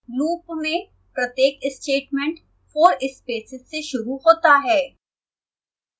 loop में प्रत्येक statement 4 spaces से शुरू होता है